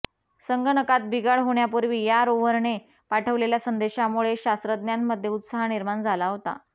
संगणकात बिघाड होण्यापूर्वी या रोव्हरने पाठवलेल्या संदेशामुळे शास्त्रज्ञांमध्ये उत्साह निर्माण झाला होता